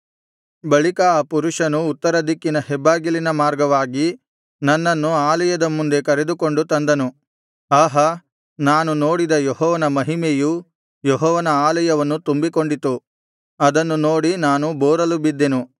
ಬಳಿಕ ಆ ಪುರುಷನು ಉತ್ತರದಿಕ್ಕಿನ ಹೆಬ್ಬಾಗಿಲಿನ ಮಾರ್ಗವಾಗಿ ನನ್ನನ್ನು ಆಲಯದ ಮುಂದೆ ಕರೆದುಕೊಂಡು ತಂದನು ಆಹಾ ನಾನು ನೋಡಿದ ಯೆಹೋವನ ಮಹಿಮೆಯೂ ಯೆಹೋವನ ಆಲಯವನ್ನು ತುಂಬಿಕೊಂಡಿತು ಅದನ್ನು ನೋಡಿ ನಾನು ಬೋರಲು ಬಿದ್ದೆನು